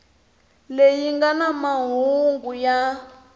leyi nga na mahungu ya